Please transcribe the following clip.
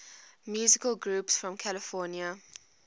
musical groups from california